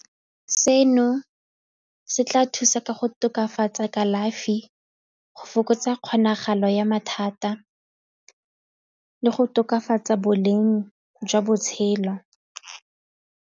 Seno se tla thusa ka go tokafatsa kalafi go fokotsa kgonagalo ya mathata le go tokafatsa boleng jwa botshelo.